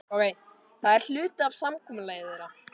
Það er hluti af samkomulagi þeirra.